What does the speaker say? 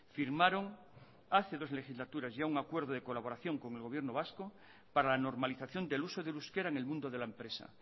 firmaron hace dos legislaturas y a un acuerdo de colaboración con el gobierno vasco para la normalización del uso del euskera en el mundo de la empresa